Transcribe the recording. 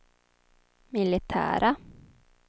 militära